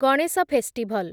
Ganesh festival